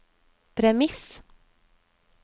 premiss